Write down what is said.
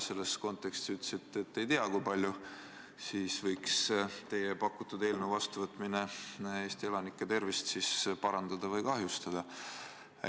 Te nimelt ütlesite, et te ei tea, kui palju võiks teie pakutud eelnõu vastuvõtmine Eesti elanike tervist parandada või kahjustada.